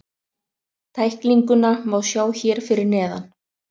Tæklinguna má sjá hér fyrir neðan.